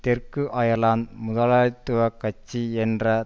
தெற்கு அயர்லாந்து முதலாளித்துவ கட்சி என்ற